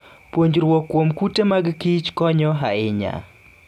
Puonjruok kuom kute mag kich konyo ahinya.